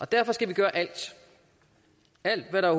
derfor skal vi gøre alt hvad der